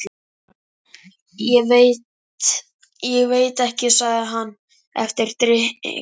Ég veit ekki. sagði hann eftir drykklanga stund.